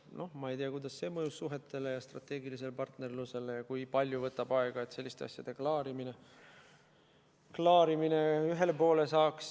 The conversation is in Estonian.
Noh, ma ei tea, kuidas see mõjus suhetele ja strateegilisele partnerlusele ning kui palju võtab aega, et selliste asjade klaarimisega ühele poole saaks.